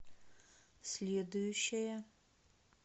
следующая